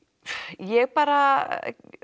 ég bara